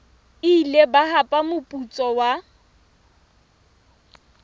ile ba hapa moputso wa